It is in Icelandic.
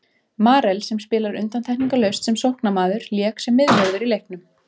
Marel sem spilar undantekningarlaust sem sóknarmaður lék sem miðvörður í leiknum.